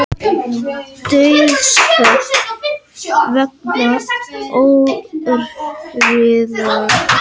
Dauðsföll vegna ófriðar